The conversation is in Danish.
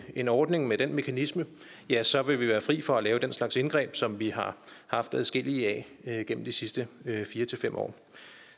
en ordning med den mekanisme ja så vil vi være fri for at lave den slags indgreb som vi har haft adskillige af gennem de sidste fire fem år